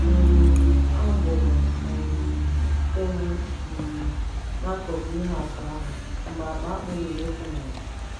um A gburu um ewu um n'akụkụ ihe atụ ahụ mgbe akpa akpu ruru otu narị.